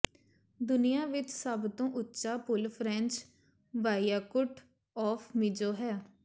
ਦੁਨੀਆ ਵਿਚ ਸਭ ਤੋਂ ਉੱਚਾ ਪੁਲ ਫ੍ਰੈਂਚ ਵਾਇਆਕੁਟ ਆਫ ਮੀਜੋ ਹੈ